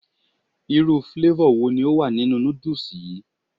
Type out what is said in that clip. Irú flavor wo ni ó wà nínú noodles yi?